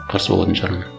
қарсы болатын шығармын